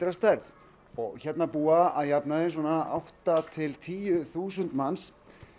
stærð og hérna búa að jafnaði svona átta til tíu þúsund manns